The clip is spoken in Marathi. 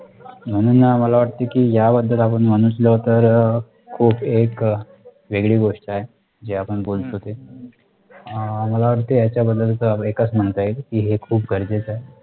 म्हणून आम्हला वाटते कि या बद्दल आपण म्हटलं तर अह खूप एक वेगळी गोष्ट आहे जी आपण बोलतो ते अह मला वाटते या बद्दल एक च म्हणता येईल कि हे खूप गरजेचं आहे